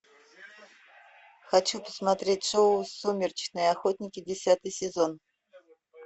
хочу посмотреть шоу сумеречные охотники десятый сезон